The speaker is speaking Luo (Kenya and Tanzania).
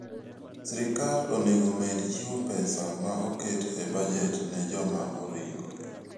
Sirkal onego omed chiwo pesa ma oket e bajet ne joma oringo.